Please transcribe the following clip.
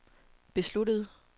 besluttede